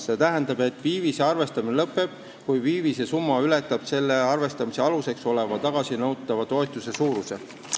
See tähendab, et viivise arvestamine lõpeb, kui viivise summa ületab selle arvestamise aluseks oleva tagasinõutava toetuse suuruse.